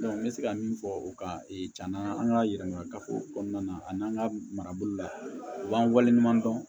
n bɛ se ka min fɔ o kan na an ka yɛlɛma kafo kɔnɔna a n'an ka marabolo la u b'an waleɲuman dɔn